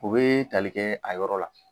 U bɛ tali kɛ a yɔrɔ la.